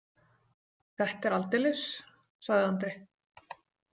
Þetta er aldeilis, sagði Andri.